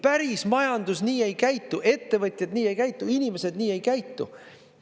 Päris majandus nii ei käitu, ettevõtjaid nii ei käitu, inimesed nii ei käitu.